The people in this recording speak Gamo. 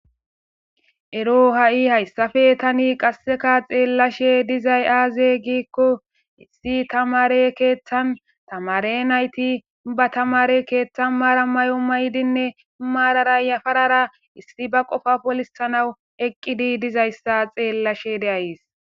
ero ha7i hayssafe tani qasseka xeellashe dizay aaze giikko issi tamare keeththan tamare nayti ba tamare keeththan maara may7o maydinne maarara yafarara issi ba qofa polisanawu eqqidi dizayssa xeellashe de'ays